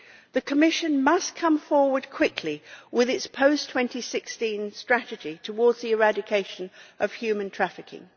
The Commission must come forward quickly with its post 2016 strategy towards the eradication of human trafficking.